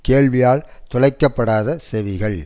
கேள்வியால் துளைக்க படாத செவிகள்